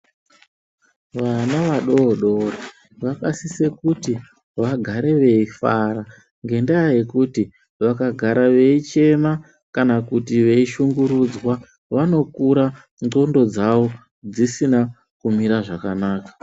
Vana vadoodori vakasise kuti vagare veifara ngendaya yekuti vakagara veichema kana kuti veishungurudzwa vanokura xhondo dzavo dzisina kumira zvakanaka .